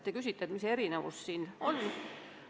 Te küsite, mis erinevus siin on.